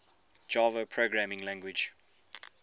java programming language